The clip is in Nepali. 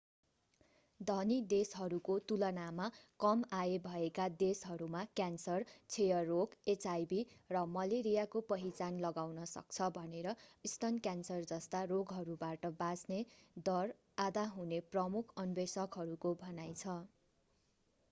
धनी देशहरूको तुलनामा कम आय भएका देशहरूमा क्यान्सर क्षयरोग एचआईभी र मलेरियाको पहिचान लगाउन सक्छ भनेर स्तन क्यान्सर जस्ता रोगहरूबाट बाँच्ने दर आधा हुने प्रमुख अन्वेषकहरूको भनाइ छ